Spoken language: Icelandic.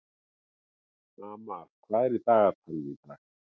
Amal, hvað er í dagatalinu í dag?